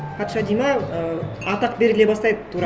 патша дейді ме ы атақ беріле бастайды тура